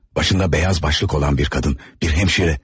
Başında beyaz başlık olan bir qadın, bir hemşire.